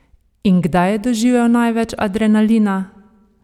In kdaj je doživel največ adrenalina?